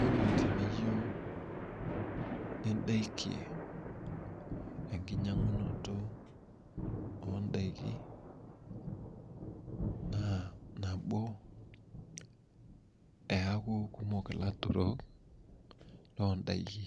Ore teniyieu nidakie enkinyang'unoto oo ndaiki naa nabo eeaku kumok ilaturok loo ndaiki.